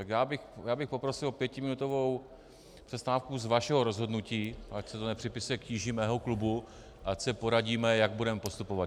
Tak já bych poprosil o pětiminutovou přestávku z vašeho rozhodnutí, ať se to nepřipisuje k tíži mého klubu, ať se poradíme, jak budeme postupovat.